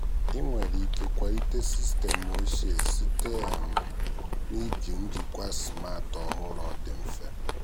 ị nwere ike kwalite sistemụ ochie site um na iji njikwa smart ọhụrụ ọ dị mfe.